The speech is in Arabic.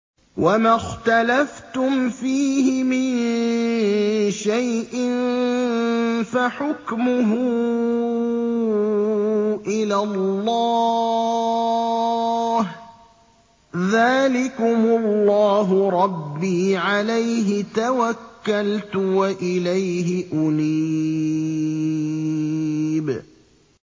وَمَا اخْتَلَفْتُمْ فِيهِ مِن شَيْءٍ فَحُكْمُهُ إِلَى اللَّهِ ۚ ذَٰلِكُمُ اللَّهُ رَبِّي عَلَيْهِ تَوَكَّلْتُ وَإِلَيْهِ أُنِيبُ